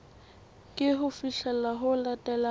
ke ho fihlela ho latelang